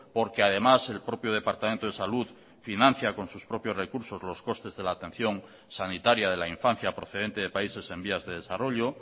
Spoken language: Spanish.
porque además el propio departamento de salud financia con sus propios recursos los costes de la atención sanitaria de la infancia procedente de países en vías de desarrollo